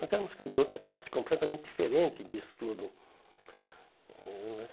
Nós éramos de outra classe, completamente diferente disso tudo. Hum